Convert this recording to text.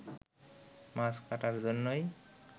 মাছ কাটার জন্যই